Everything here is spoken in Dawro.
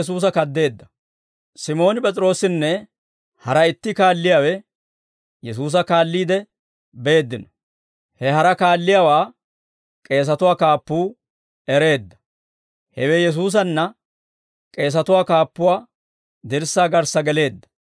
Simooni P'es'iroosinne hara itti kaalliyaawe Yesuusa kaalliide beeddino. He hara kaalliyaawaa k'eesatuwaa kaappuu ereedda; hewe Yesuusanna k'eesatuwaa kaappuwaa dirssaa garssa geleedda.